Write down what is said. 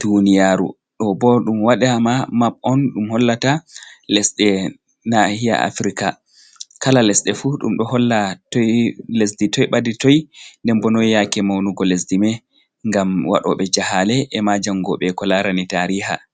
duniyaru ɗobo ɗum wadama map on ɗum hollata lesɗe nahiya afrika kala lesɗe fu ɗum ɗo holla lesɗi toi ɓadi toi den bo noi yake maunugo lesdi mai gam waɗobe jahale e ma jangoɓe ko larani tariha.